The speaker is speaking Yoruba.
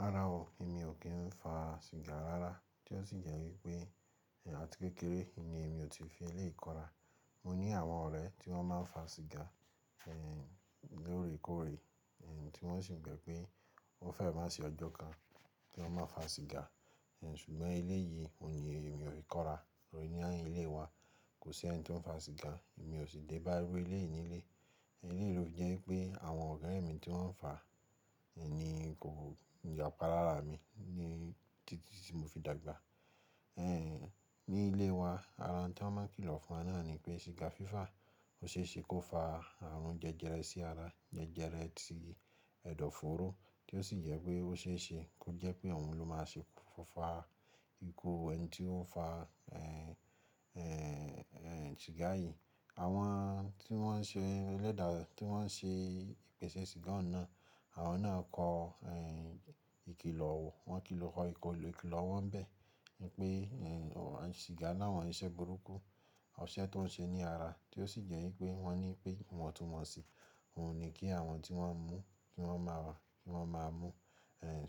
Rárá o, èmi ò kí ń fa siga rárá tí ó sì jẹ́ wípé, àti kékeré, ni emi ò tí fi eléyi ko ra. Mo ní àwọn ọ̀rẹ́ tí wọ́n máa ń fa siga, lóòrèkóòrè tí wọ́n sì gbẹ̀ pé ó fẹ́ má sì ọjọ́ kan tí wọn má fa siga, ṣùgbọ́n eléyìí òní e mi ò fi kọ́ra. Tórí ní ilé wa, kò sí ẹni tó ń fa siga, èmi ò sì dé bá irú eléyìí yìí nílé. Eleyii lo jẹ́ wipé àwọn ore mi to n ńfà ní kò yàpa lára mi ní títí tí mo fi dàgbà. Ní ilé wa, ara ń tàn máa kìlọ̀ fún wa náà ni pé siga fífà ó ṣe é ṣe kó fa àrùn jẹjẹrẹ sí ara, jẹjẹrẹ tí ẹ̀dọ̀foóró tí ó sì jẹ pé ó ṣe é ṣe kó jẹ́ pé òun ló máa ṣe kúnfa ikú ẹni tí ó fa, siga yìí. Àwọn tí wọ́n ń ṣe ẹlẹ́dàá, tí wọ́n ń ṣe ìpèsè siga ọ̀un nàa, àwọn náà kọo, ìkìlọ̀. Wọ́n kilọ ko ìkìlọ̀ wọ́n n bẹ́ẹ̀ wípé, siga ni awọn iṣẹ́ burúkú, ọṣẹ tó ń ṣe ní ara tí ó sì jẹ́ wípé wọ́n ní pé ìwọ̀n tun won si òun ni kí àwọn tí wọ́n n mú, kí wọ́n máa, ki wọ́n máa mú.